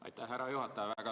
Aitäh, härra juhataja!